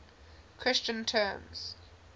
christian terms